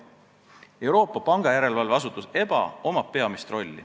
Euroopa Pangandusjärelevalvel EBA on peamine roll.